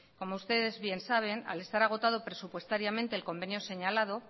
como ustedes bien saben al estar agotado presupuestariamente el convenio señalado